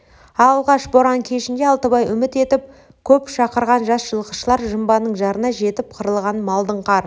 алғаш боран кешінде алтыбай үміт етіп көп шақырған жас жылқышылар жымбаның жарына жетіп қырылған малдың қар